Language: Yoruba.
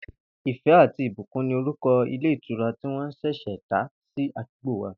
Ìfé̩ àti Ìbùkún ni orúko̩ ilé ìtura tĩ wó̩n s̩è̩s̩è̩ dá sí àdúgbò wa